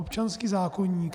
Občanský zákoník.